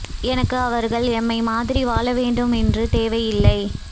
எனக்கு அவர்கள் எம்மை மாதிரி வாழவேண்டும் என்று தேவை இல்லை